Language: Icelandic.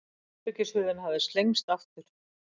Herbergishurðin hafði slengst aftur.